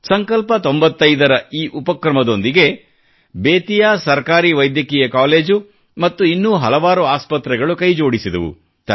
ಸಂಕಲ್ಪ 95 ನ ಈ ಉಪಕ್ರಮದೊಂದಿಗೆ ಬೆತಿಯಾ ಸರ್ಕಾರಿ ವೈದ್ಯಕೀಯ ಕಾಲೇಜು ಮತ್ತು ಇನ್ನೂ ಹಲವಾರು ಆಸ್ಪತ್ರೆಗಳು ಕೈಜೋಡಿಸಿದವು